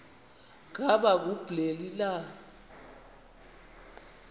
ngaba kubleni na